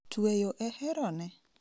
Tweyo e herone?